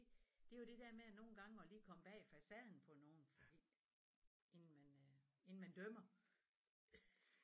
Det er jo det der med nogle gange og lige komme bag facaden på nogen fordi inden man øh inden man dømmer